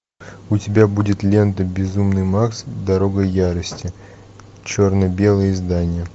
у тебя будет лента безумный макс дорога ярости черно белое издание